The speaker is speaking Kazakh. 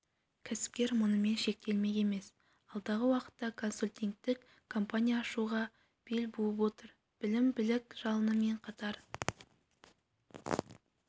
кәсіпкер мұнымен шектелмек емес алдағы уақытта консальтингтік компания ашуға бел буып отыр білім білік жалынымен қатар